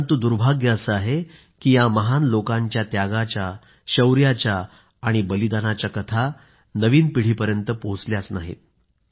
परंतु दुर्भाग्य असे आहे की या महान लोकांच्या त्यागाच्या शौर्याच्या आणि बलिदानाच्या कथा नवीन पिढीपर्यंत पोहोचल्याच नाहीत